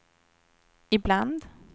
ibland